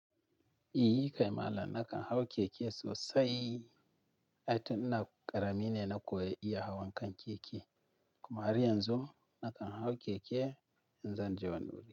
I kai malam na kan hau keke sosai. Ai tun ina ƙarami ne na koyi iya hawan kan keke kuma har yanzu na kan hau keke in zan je wani wuri.